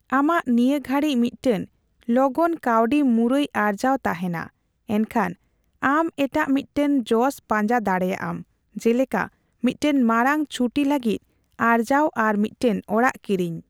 ᱟᱢᱟᱜ ᱱᱤᱭᱟᱹ ᱜᱷᱟᱹᱲᱤᱪ ᱢᱤᱫᱴᱟᱝ ᱞᱚᱜᱚᱱ ᱠᱟᱣᱰᱤ ᱢᱩᱨᱟᱹᱭ ᱟᱨᱡᱟᱣ ᱛᱟᱦᱮᱸᱱᱟ, ᱮᱱᱠᱷᱟᱱ ᱟᱢ ᱮᱴᱟᱜ ᱢᱤᱫᱴᱟᱝ ᱡᱚᱥ ᱯᱟᱸᱡᱟ ᱫᱟᱲᱮᱭᱟᱜ ᱟᱢ, ᱡᱮᱞᱮᱠᱟ ᱢᱤᱫᱴᱟᱝ ᱢᱟᱲᱟᱝ ᱪᱷᱩᱴᱤ ᱞᱟᱹᱜᱤᱫ ᱟᱨᱡᱟᱣ ᱟᱨ ᱢᱤᱫᱴᱟᱝ ᱚᱲᱟᱜ ᱠᱤᱨᱤᱧ ᱾